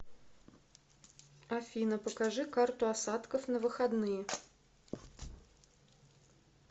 афина покажи карту осадков на выходные